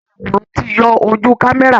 Ayàwòrán ti yọ ojú kámẹ́rà